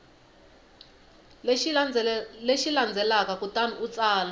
lexi landzelaka kutani u tsala